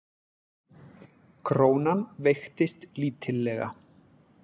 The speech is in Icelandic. Krónan veiktist lítillega